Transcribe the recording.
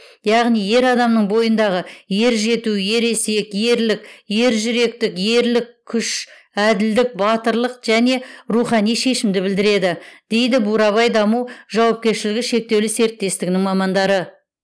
яғни ер адамның бойындағы ержету ересек ерлік ержүректік ерлік күш әділдік батырлық және рухани шешімді білдіреді дейді бурабай даму жауапкершілігі шектеулі серіктестігінің мамандары